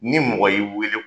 Ni mɔgɔ y'i weele